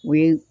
O ye